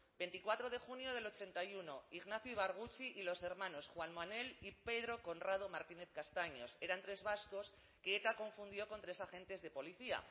veinticuatro de junio del ochenta y uno ignacio ibarguchi y los hermanos juan manuel y pedro conrado martínez castaños eran tres vascos que eta confundió con tres agentes de policía